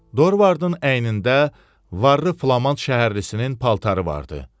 Dorvardın əynində varlı Flaman şəhərlisinin paltarı vardı.